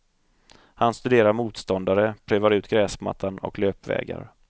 Han studerar motståndare, prövar ut gräsmattan och löpvägar.